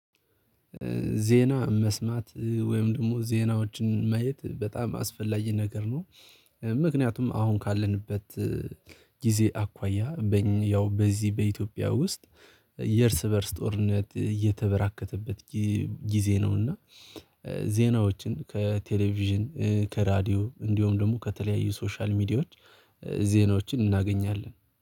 ዜና መስማት ወይም ደግሞ ዜናዎችን ማየት በጣም አስፈላጊ ነገር ነው። ምክንያቱም አሁን ካለንበት ጊዜ አኳያ በዚህ በኢትዮጵያ ውስጥ የእርስ በእርስ ጦርነት እየተበራከተበት ጊዜ ነው። እና ዜናዎችን ከቴሌቪዥን ከራድዮ እንዲሁም ደግሞ ከተለያዩ ሶሻል ሚዲያዎች ዜናዎችን እናገኛለን